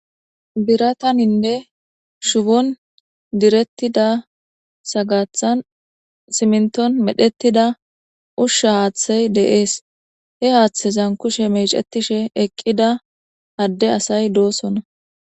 birataninne shubon direttida sagathan simnton medhettida ushsha haaththey de'es he haaththezan kushe mecetishe eqqida adde asay dosonna.